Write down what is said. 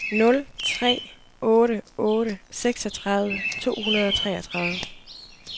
nul tre otte otte seksogtredive to hundrede og treogtredive